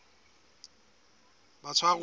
batshwaruwa